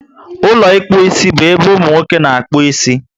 Ụlọ ịkpụ isi bu ébé umunwoke na-akpu ịsị